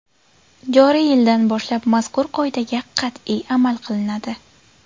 Joriy yildan boshlab mazkur qoidaga qat’iy amal qilinadi.